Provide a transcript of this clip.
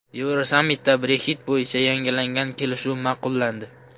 Yevrosammitda Brexit bo‘yicha yangilangan kelishuv ma’qullandi.